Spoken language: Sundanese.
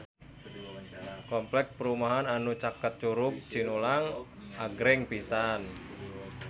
Kompleks perumahan anu caket Curug Cinulang agreng pisan